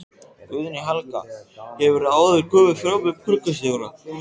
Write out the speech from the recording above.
Guðný Helga: Hefurðu áður komið fram með borgarstjóra?